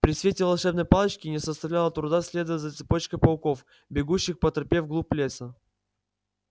при свете волшебной палочки не составляло труда следовать за цепочкой пауков бегущих по тропе в глубь леса